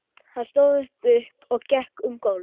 Hann stóð upp og gekk um gólf.